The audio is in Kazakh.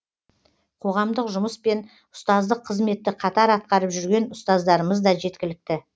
қоғамдық жұмыс пен ұстаздық қызметті қатар атқарып жүрген ұстаздарымыз да жеткілікті